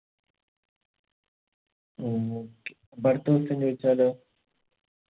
okay അപ്പൊ അടുത്ത question ചോയിച്ചാലോ